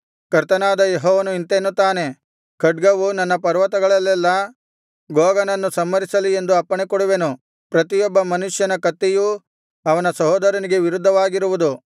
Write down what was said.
ಕರ್ತನಾದ ಯೆಹೋವನು ಇಂತೆನ್ನುತ್ತಾನೆ ಖಡ್ಗವು ನನ್ನ ಪರ್ವತಗಳಲ್ಲೆಲ್ಲಾ ಗೋಗನನ್ನು ಸಂಹರಿಸಲಿ ಎಂದು ಅಪ್ಪಣೆಕೊಡುವೆನು ಪ್ರತಿಯೊಬ್ಬ ಮನುಷ್ಯನ ಕತ್ತಿಯೂ ಅವನ ಸಹೋದರನಿಗೆ ವಿರುದ್ಧವಾಗಿರುವುದು